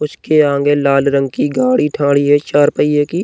उस के आगें लाल रंग की गाड़ी ठाडी है चार पहिये की।